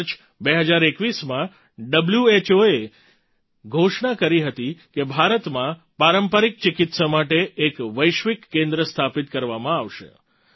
March 2021માં હૂએ ઘોષણા કરી હતી કે ભારતમાં પારંપરિક ચિકિત્સા માટે એક વૈશ્વિક કેન્દ્ર સ્થાપિત કરવામાં આવશે